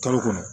Kalo kɔnɔ